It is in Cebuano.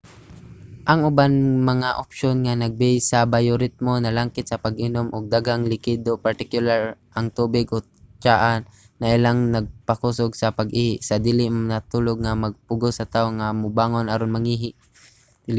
ang uban nga mga opsyon nga nagbase sa bayoritmo nalangkit sa pag-inom og daghang likido partikular ang tubig o tsaa nailhang magpakusog sa pag-ihi sa dili pa matulog nga magpugos sa tawo nga mubangon aron mangihi